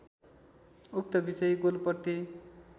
उक्त विजयी गोलप्रति